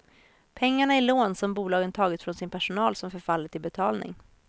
Pengarna är lån som bolagen tagit från sin personal som förfaller till betalning.